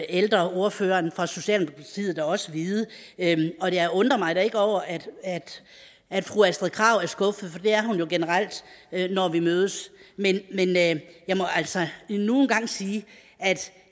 ældreordføreren for socialdemokratiet da også vide og jeg undrer mig ikke over at at fru astrid krag er skuffet for det er hun jo generelt når vi mødes men jeg må altså endnu en gang sige at